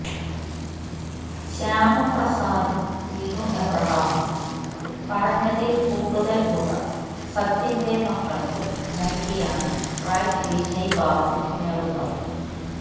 ശ്യാമപ്രസാദും വിനു എബ്രാഹമും പറഞ്ഞതിൽ കൂടുതൽ തുക സത്യന്റെ മക്കൾക്ക് നൽകിയാണ് റൈറ്റ് വിജയ് ബാബു നേടുന്നത്